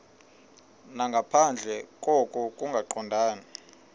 nangaphandle koko kungaqondani